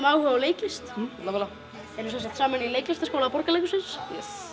áhuga á leiklist nákvæmlega erum sem sagt saman í leiklistarskóla Borgarleikhússins